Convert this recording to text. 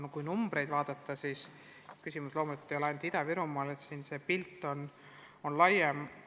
Kui numbreid vaadata, siis on selge, et küsimus loomulikult ei ole ainult Ida-Virumaal, see pilt on laiem.